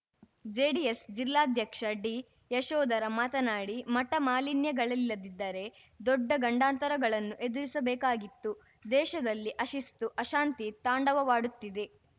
JDS ಜಿಲ್ಲಾಧ್ಯಕ್ಷ ಡಿಯಶೋಧರ ಮಾತನಾಡಿ ಮಠ ಮಾಲಿನ್ಯಗಳಿಲ್ಲದಿದ್ದರೆ ದೊಡ್ಡ ಗಂಡಾಂತರಗಳನ್ನು ಎದುರಿಸಬೇಕಾಗಿತ್ತು ದೇಶದಲ್ಲಿ ಅಶಿಸ್ತು ಅಶಾಂತಿ ತಾಂಡವವಾಡುತ್ತಿದೆ